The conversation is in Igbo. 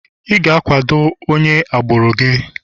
ị ga-akwado onye agbụrụ gị